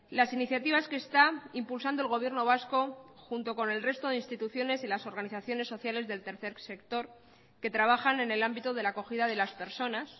las iniciativas que está impulsando el gobierno vasco junto con el resto de instituciones y las organizaciones sociales del tercer sector que trabajan en el ámbito de la acogida de las personas